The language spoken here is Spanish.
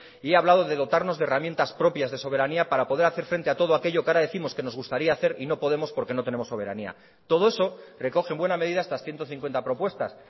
y he hablado de dotarnos de herramientas propias de soberanía para poder hacer frente a todo aquello que ahora décimos que nos gustaría hacer y no podemos porque no tenemos soberanía todo eso recoge en buena medida estas ciento cincuenta propuestas